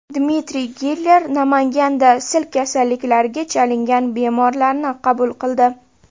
Dmitriy Giller Namanganda sil kasalliklariga chalingan bemorlarni qabul qildi.